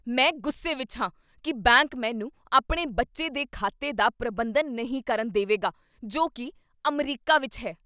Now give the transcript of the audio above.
ਮੈਂ ਗੁੱਸੇ ਵਿੱਚ ਹਾਂ ਕੀ ਬੈਂਕ ਮੈਨੂੰ ਆਪਣੇ ਬੱਚੇ ਦੇ ਖਾਤੇ ਦਾ ਪ੍ਰਬੰਧਨ ਨਹੀਂ ਕਰਨ ਦੇਵੇਗਾ ਜੋ ਕੀ ਅਮਰੀਕਾ ਵਿੱਚ ਹੈ।